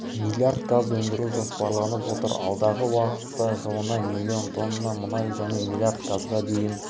млрд газ өндіру жоспарланып отыр алдағы уақытта жылына млн тонна мұнай және млрд газға дейін